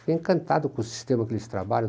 Fiquei encantado com o sistema que eles trabalham.